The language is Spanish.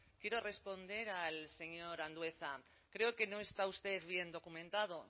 quiero responder al señor andueza creo que no está usted bien documentado